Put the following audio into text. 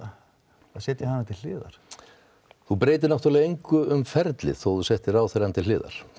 setja hana til hliðar þú breytir engu um ferlið þó þú setir ráðherrann til hliðar